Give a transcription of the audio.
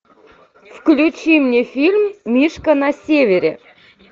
включи мне фильм мишка на севере